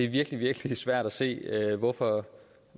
virkelig virkelig svært at se hvorfor